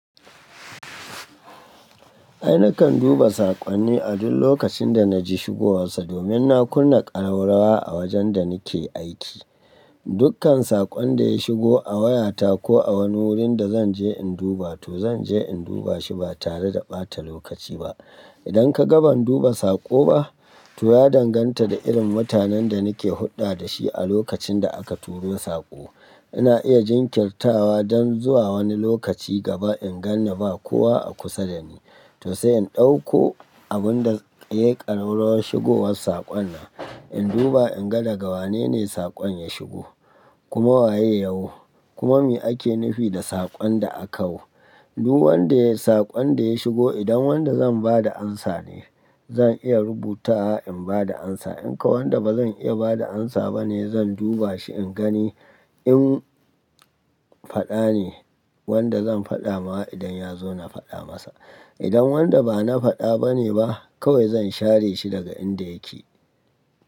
Ai nakan duba saƙonni a duk lokacin da naji shigowarsa domin na kunna ƙararrawa a wajen da nike aiki. Dukkan saƙon da ya shigo a wayata ko a wani wurin da zanje in duba to zanje in duba shi ba tare da ɓata lokaci ba. Idan ka ga ban duba saƙo ba, to ya danganta da irin mutanen da nake hulɗa dashi a lokacin da aka turo saƙo. Ina iya jinkirtawa don zuwa wani lokaci gaba in ganni ba kowa a kusa dani. To sai in ɗauko abun da yayi ƙararrawar shigowar saƙon nan, in duba in ga daga wane ne saƙon ya shigo, kuma waye yawo, kuma me ake nufi da saƙon da akawo. Duk wanda saƙon da ya shigo idan wanda zan ba da amsa ne, zan iya rubutawa in ba da amsa. In kau wanda bazan iya ba da amsa bane zan duba shi in gani in faɗa ne, wanda zan faɗa mawa idan ya zo na faɗa masa. Idan wanda bana faɗa bane ba kawai zan share shi daga inda yake.